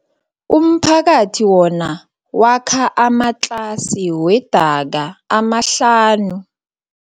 Umphakathi wona wakha amatlasi wedaka amahlanu.